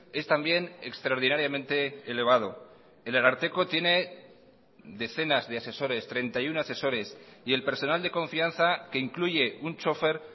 es también extraordinariamente elevado el ararteko tiene decenas de asesores treinta y uno asesores y el personal de confianza que incluye un chofer